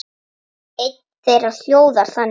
Ein þeirra hljóðar þannig